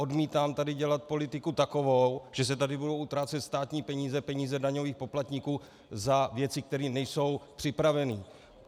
Odmítám tady dělat politiku takovou, že se tady budou utrácet státní peníze, peníze daňových poplatníků, za věci, které nejsou připraveny.